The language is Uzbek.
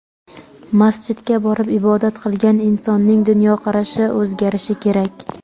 Masjidga borib ibodat qilgan insonning dunyoqarashi o‘zgarishi kerak.